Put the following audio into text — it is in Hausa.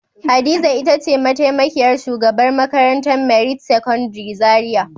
Hadiza ita ce mataimakiyar shugabar makarantar merit secondary zaria.